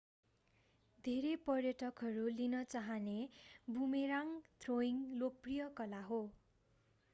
धेरै पर्यटकहरू लिन चाहने बुमेराङ्ग थ्रोइङ्ग लोकप्रिय कला हो